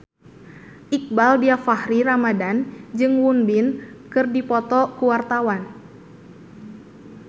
Iqbaal Dhiafakhri Ramadhan jeung Won Bin keur dipoto ku wartawan